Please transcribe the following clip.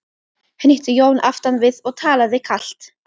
hnýtti Jón aftan við og talaði kalt.